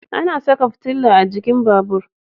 Ana saka fitila a jikin babur